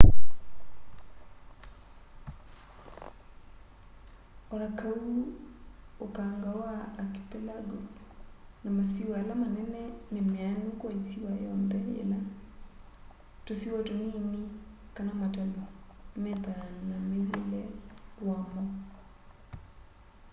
onakaũ ũkanga wa archĩpelagos na masĩwa ala manene nĩ meanũ kwa ĩsĩwa yonthe yĩla tũsĩwa tũnĩnĩ kana matalũ methaa na mwĩw'ĩle wamo